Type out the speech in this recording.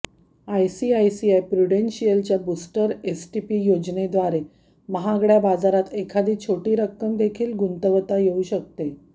ICICI प्रूडेंशियलच्या booster STP योजनेद्वारे महागड्या बाजारात एखादी छोटी रक्कमदेखील गुंतवता येऊ शकते